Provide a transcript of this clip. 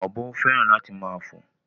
Ọ̀bọ féràn láti máa fò